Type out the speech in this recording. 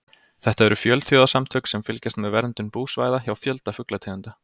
Þetta eru fjölþjóðasamtök sem fylgjast með verndun búsvæða hjá fjölda fuglategunda.